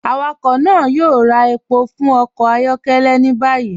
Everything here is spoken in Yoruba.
Awakọ náà yóò rà èpọ̀ fún ọkọ ayọkẹlẹ ni báyì.